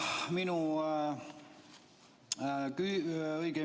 Suur tänu!